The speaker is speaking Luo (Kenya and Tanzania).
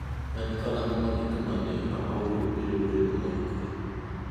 En karang’o ma gik ma ne aoro biro bedo moikore?